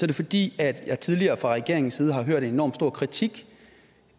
det fordi jeg tidligere fra regeringens side har hørt en enormt stor kritik